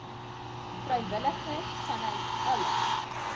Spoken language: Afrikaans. vrywilligers vanuit alle